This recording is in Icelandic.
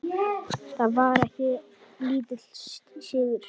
Það var ekki lítill sigur!